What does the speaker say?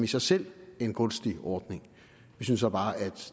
sig selv en gunstig ordning vi synes så bare at